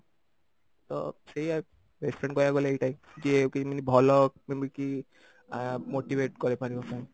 ତ ସେଇଆ best friend କହିବାକୁ ଗଲେ ଏଇଆ ହିଁ ଯିଏ i mean ଭଲ ଯେମିତି କି ଆ motivate କରିପାରିବ friend